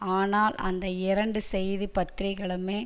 ஆனால் அந்த இரண்டு செய்தி பத்திரிகைகளுமே